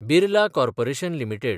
Birla corporation limited